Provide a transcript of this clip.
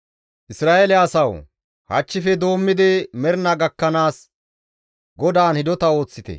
Isra7eele asawu! Hachchife doommidi mernaa gakkanaas GODAAN hidota ooththite.